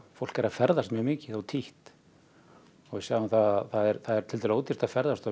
fólk er að ferðast mjög mikið og títt við sjáum það það er tiltölulega ódýrt að ferðast og